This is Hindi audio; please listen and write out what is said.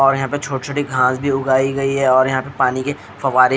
और यहाँ पर छोटी छोटी घास भी उगाई गयी है और यहाँ पर पानी के फवारे--